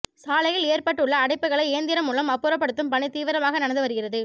சாலையில் ஏற்பட்டுள்ள அடைப்புகளை இயந்திரம் மூலம் அப்புறப்படுத்தும் பணி தீவிரமாக நடந்து வருகிறது